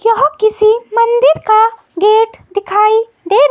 यह किसी मंदिर का गेट दिखाई दे--